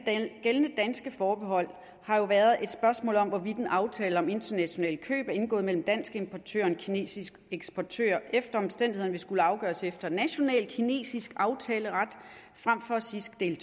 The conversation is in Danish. gældende danske forbehold har jo været at spørgsmål om hvorvidt en aftale om internationale køb indgået mellem en dansk importør og en kinesisk eksportør efter omstændighederne vil skulle afgøres efter national kinesisk aftaleret frem for cisgs del